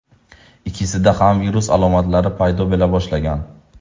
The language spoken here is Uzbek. Ikkisida ham virus alomatlari paydo bo‘la boshlagan.